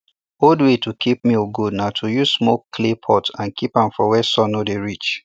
old way to keep milk good na to use smoke clay pot and keep am for where sun no dey reach